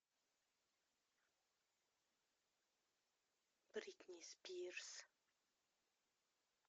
бритни спирс